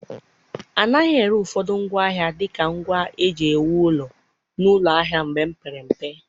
A naghị ere ụfọdụ ngwaahịa dị ka ngwa eji ewu ụlọ n'ụlọ ahịa mgbe m pere mpe.